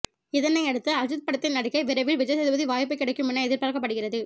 இதனை அடுத்து அஜித் படத்தில் நடிக்க விரைவில் விஜய் சேதுபதி வாய்ப்பு கிடைக்கும் என எதிர்பார்க்கப்படுகிறது